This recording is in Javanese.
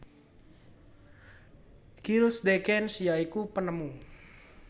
Gilles de Gennes ya iku penemu